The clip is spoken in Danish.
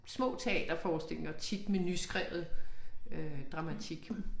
Små teaterforestillinger tit med nyskrevet øh dramatik